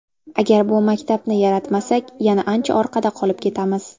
Agar bu maktabni yaratmasak, yana ancha orqada qolib ketamiz.